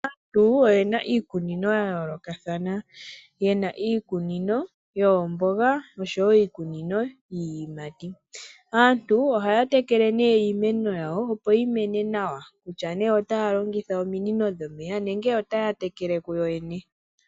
Aantu oyena iikunino yayoolokathana. Yena iikunino yoombonga osho woo iikunino yiiyimati. Aantu ohaya tekele nee iimeno yawo opo yimene nawa, kutya nee otaya longitha ominino dhomeya nenge otaya tekele kuyo yene.